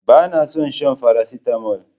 Bana son shan faracetamol